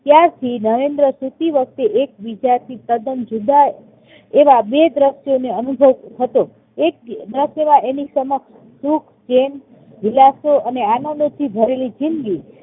ત્યારથી નરેન્દ્ર સુતી વખતે એક વિચારથી તદ્દન જુદા એવા બે દ્રશ્યોને અનુભવતો હતો. એક દ્રશ્ય જેમાં એની સમક્ષ સુખ, ચૈન, વિલાસો અને આનંદોથી ભરેલી જિંદગી